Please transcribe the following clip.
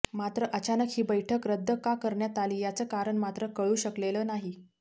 मात्र अचानक ही बैठक रद्द का करण्यात आली याचं कारण मात्र कळू शकलेलं नाही